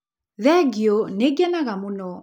Thengiũ, nĩ ngenaga mũno